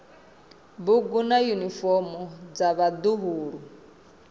bugu na yunifomo dza vhaḓuhulu